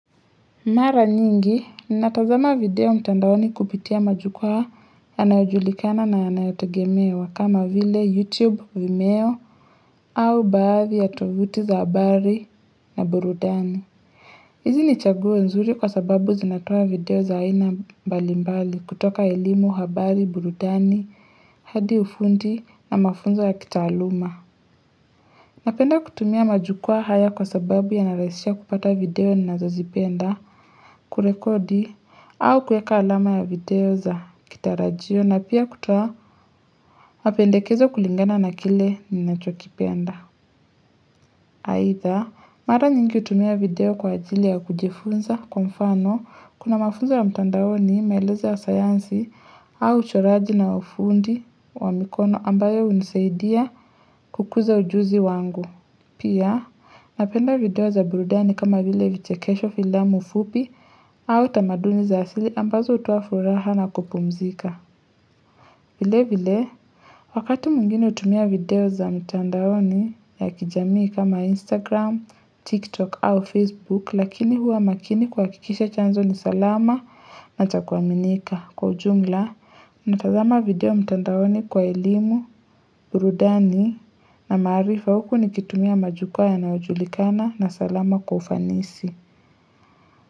Mara nyingi, ni natazama video mtandaoni kupitia majukuwa yanayojulikana na yanayotogemewa kama vile YouTube, Vimeo, au baadhi ya tovuti za habari na burudani. Hizi ni chaguo nzuri kwa sababu zinatoa video za haina mbalimbali kutoka elimu, habari, burudani, hadi ufundi na mafunzo ya kitaaluma. Napenda kutumia majukua haya kwa sababu yanarahisisha kupata video ni nazozipenda kurekodi au kueka alama ya video za kitarajio na pia kutoa mapendekezo kulingana na kile ni nacho kipenda. Aitha, mara nyingi utumia video kwa ajili ya kujifunza kwa mfano kuna mafunzo wa mtandaoni maeleza ya sayansi au uchoraji na ufundi wa mikono ambayo unisaidia kukuza ujuzi wangu. Pia, napenda video za burudani kama vile vichekesho filamu fupi au tamaduni za asili ambazo hutoa furaha na kupumzika. Vile vile, wakati mwingine hutumia video za mtandaoni ya kijamii kama Instagram, TikTok au Facebook lakini hua makini kuwakikisha chanzo ni salama na chakuaminika. Kwa ujumla, unatazama video mtandaoni kwa elimu, burudani na maarifa huku nikitumia majukwa yanayo julikana na salama kwa ufanisi.